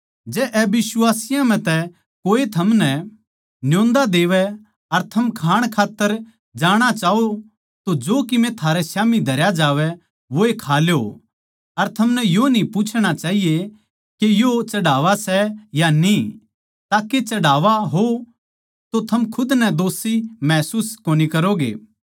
जै अबिश्वासियाँ म्ह तै कोए थमनै न्योंदा देवै अर थम खाण खात्तर जाणा चाहो तो जो कीमे थारै स्याम्ही धरया जावै वोए खा ल्यो अर थमनै यो न्ही पूछणा चाहिए के यो चढ़ावा सै या न्ही ताके चढ़ावा हो तो थम खुद नै दोषी महसूस कोनी करोगे